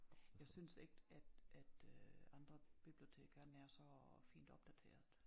Jeg synes ikke at at øh andre biblioteker er nær så fint opdateret